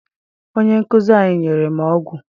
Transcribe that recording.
Onye nkụzi anyị nyere m ọgwụ.